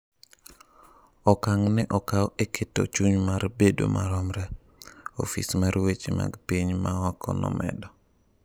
"Okang' no okaw e ""keto chuny mar bedo maromre,"" Ofis mar weche mag piny ma oko nomedo."